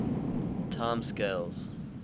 time scales